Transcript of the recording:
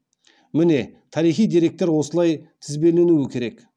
міне тарихи деректер осылай тізбеленуі керек